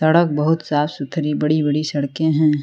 सड़क बहोत साफ सुथरी बड़ी बड़ी सड़कें हैं।